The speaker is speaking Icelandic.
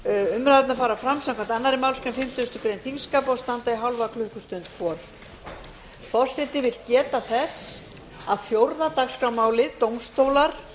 umræðurnar fara fram samkvæmt annarri málsgrein fimmtugustu grein þingskapa og standa í hálfa klukkustund hvor